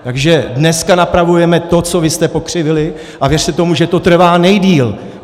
Takže dneska napravujeme to, co vy jste pokřivili, a věřte tomu, že to trvá nejdéle.